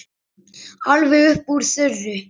Alveg upp úr þurru?